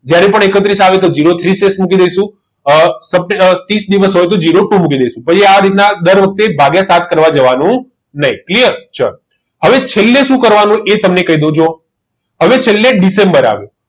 જ્યારે પણ એકત્રીસ આવે તો zero three શેષ મૂકી દઈશું ત્રીસ દિવસ હોય તો zero two મૂકી દેજો પછી આ રીતના દર વખતે ભાગ્ય સાત કરવા જવાનો નહીં clear ચલો હવે છેલ્લે શું કરવાનું એ તમને કહી દઉં અને છેલ્લે ડિસેમ્બર આવે